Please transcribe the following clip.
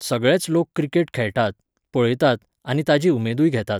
सगळेच लोक क्रिकेट खेळटात, पळयतात आनी ताजी उमेदूय घेतात